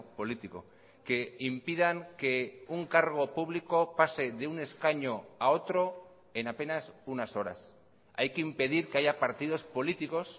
político que impidan que un cargo público pase de un escaño a otro en apenas unas horas hay que impedir que haya partidos políticos